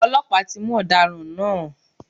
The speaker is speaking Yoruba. Ọlọ́pàá ti mú ọ̀daràn náà.